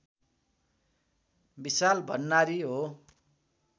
विशाल भण्डारी हो